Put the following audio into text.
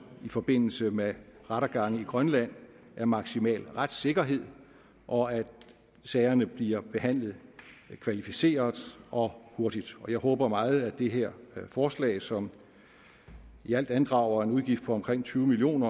i forbindelse med rettergange i grønland er maksimal retssikkerhed og at sagerne bliver behandlet kvalificeret og hurtigt jeg håber meget at det her forslag som i alt andrager en udgift på omkring tyve million